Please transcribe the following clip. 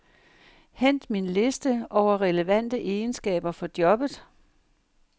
Hent min liste over relevante egenskaber for jobbet.